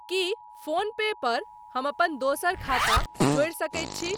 की PhonePe पर हम अपन दोसर खाता जोड़ि सकैत छी?